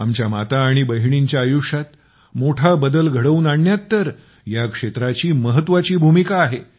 आपल्या माता आणि बहिणींच्या आयुष्यात मोठा बदल घडवून आणण्यात तर ह्या क्षेत्राची महत्वाची भूमिका आहे